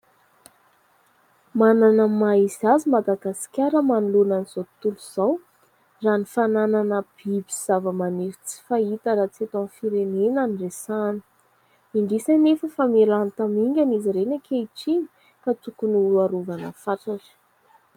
Manana ny maha izy azy I Madagasikara manoloana an'izao tontolo izao. Anisan'izany ny fananana biby sy zava-maniry tsy fahita raha tsy eto amin'ny firenena no resahana. Indrisy anefa fa miha-lany tamingana izy ireny ankehitriny ka tokony harovana fatratra.